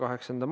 Aitäh!